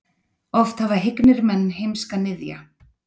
Oft hafa hyggnir menn heimska niðja.